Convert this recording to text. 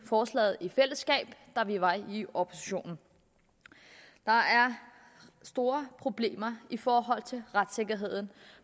forslaget da vi var i opposition der er store problemer i forhold til retssikkerheden